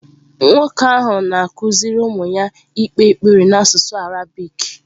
Nwoke ahụ na-akụziri ụmụ ya ikpe ekpere n’asụsụ Arabik.